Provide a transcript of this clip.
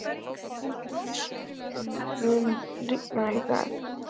Fídes, mun rigna í dag?